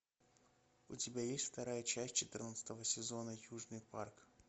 у тебя есть вторая часть четырнадцатого сезона южный парк